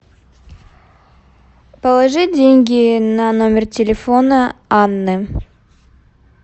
положи деньги на номер телефона анны